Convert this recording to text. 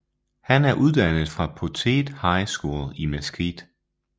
Han er uddannet fra Poteet High School i Mesquite